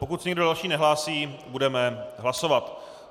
Pokud se nikdo další nehlásí, budeme hlasovat.